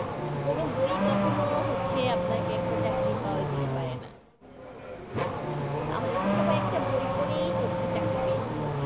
কোনো বই কখনো হচ্ছে আপনাকে একটা চাকরি পাওয়াই দিতে পারে না তাহলে তো সবাই একটা বই পড়েই হচ্ছে চাকরি পেয়ে যেতো